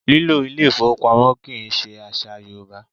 Lílo ilé ìfowópamọ́ kì í ṣe àṣà Yorùbá